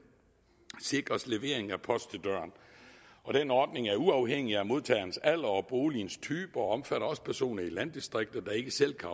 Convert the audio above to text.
sikres levering af post til døren og den ordning er uafhængig af modtagerens alder og boligens type og omfatter også personer i landdistrikter der ikke selv kan